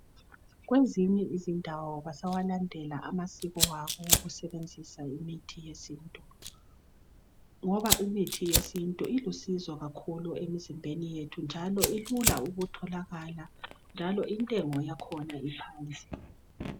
Kwezinye izindawo basawalandela amasiko abo okusebenzisa imithi yesintu, ngoba imithi yesintu ilusizo kakhulu emzimbeni yethu njalo ilula ukutholakala njalo intengo yakhona iphansi.